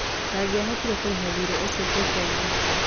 ndangĩahotire kũrĩha thirĩ ũcio kũrĩ bengi